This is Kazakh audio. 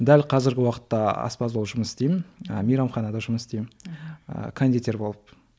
дәл қазіргі уақытта аспаз болып жұмыс істеймін ы мейрамханада жұмыс істеймін ыыы кондитер болып